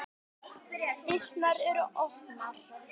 Dyrnar eru opnar.